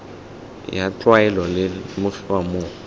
ya tlwaelo di lemogiwa mo